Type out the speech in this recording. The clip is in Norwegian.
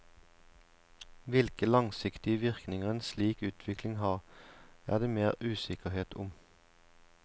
Hvilke langsiktige virkninger en slik utvikling har, er det mer usikkerhet om.